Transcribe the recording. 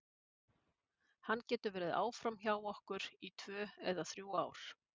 Hann getur verið áfram hjá okkur í tvö eða þrjú ár.